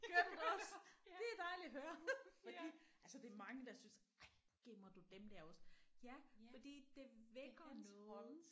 Gør du det også? Det er dejligt at høre fordi altså det er mange der synes ej gemmer du dem der også ja fordi det vækker nogle